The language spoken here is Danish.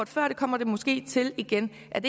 før og det kommer det måske til igen er